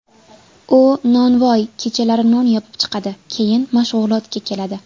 U nonvoy, kechalari non yopib chiqadi, keyin mashg‘ulotga keladi.